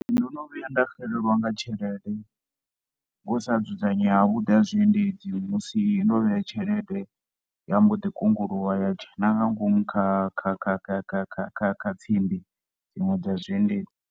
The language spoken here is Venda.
Ndo no vhuya nda xelelwa nga tshelede ngo sa dzudzanya havhuḓi ha zwiendedzi musi ndo vhea tshelede ya mbo ḓi kunguluwa ya dzhena nga ngomu kha kha kha kha kha kha kha kha tsimbi dziṅwe dza zwiendedzi.